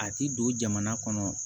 A ti don jamana kɔnɔ